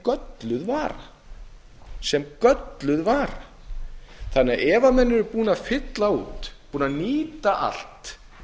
gölluð vara þannig að ef menn eru búnir að fylla út búnir að nýta allt